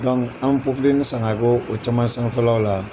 an bɛ san ga ko o caman sanfƐlaw la